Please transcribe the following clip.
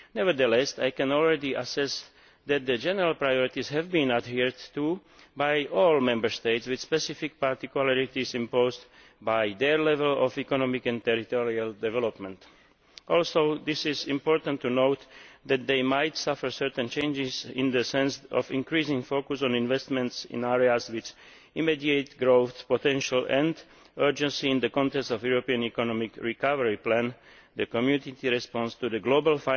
Nevertheless, I can already assess that the general priorities have been adhered to by all Member States, with specific particularities imposed by their level of economic and territorial development. It is also important to note that they might suffer certain changes in the sense of the increasing focus on investments in areas with immediate growth potential and urgency in the context of the European economic recovery plan, the Community response to the global